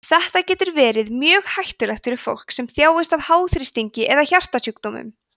þetta getur verið mjög hættulegt fyrir fólk sem þjáist af háþrýstingi eða hjartasjúkdómum